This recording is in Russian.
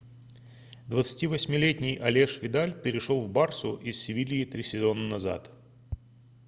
28-летний алеш видаль перешел в барсу из севильи три сезона назад